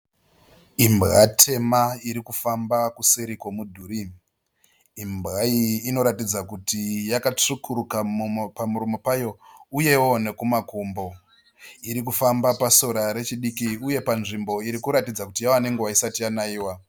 Imbwa tema irikufamba kuseri kwemudhuri. Imbwa iyi inoratidza kuti yakatsvukuruka pamuromo payo uyewo nekumakumbo. Iri kufamba pasora diki uye panzvimbo inoratidza kuti yave nenguva isati yanaiwa.